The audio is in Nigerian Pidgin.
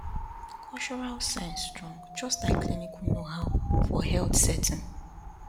cultural sense strong just like clinical knowhow for health setting